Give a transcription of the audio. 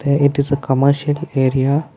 a it is a commercial area.